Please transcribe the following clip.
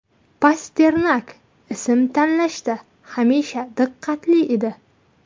Pasternak ism tanlashda hamisha diqqatli edi.